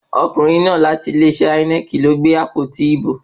Ọkùnrin náà láti ilé-iṣẹ́ Ínẹ́ẹ̀kì ló gbé àpótí ìbò.